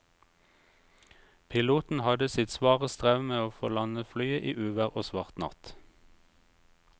Piloten hadde sitt svare strev med å få landet flyet i uvær og svart natt.